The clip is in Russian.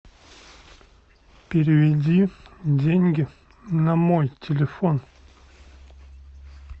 переведи деньги на мой телефон